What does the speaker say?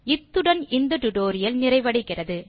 இத்துடன் இந்தtutorial நிறைவடைகிறது